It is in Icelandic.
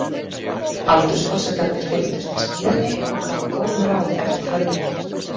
Aldursforsetarnir fylgdust með smíðinni og gáfu góð ráð eftir þörfum.